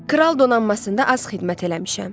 Kral donanmasında az xidmət eləmişəm.